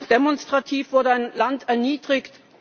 Demonstrativ wurde ein Land erniedrigt.